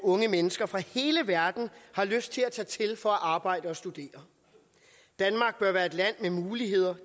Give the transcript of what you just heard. unge mennesker fra hele verden har lyst til at tage til for at arbejde og studere danmark bør være et land med muligheder